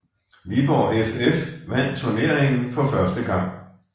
Viborg FF vandt turneringen for første gang